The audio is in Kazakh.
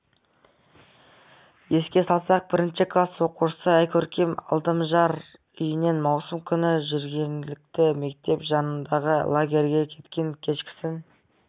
еске салсақ бірінші класс оқушысы айкөркем алдамжар үйінен маусым күні жергілікті мектеп жанындағы лагерге кеткен кешкісін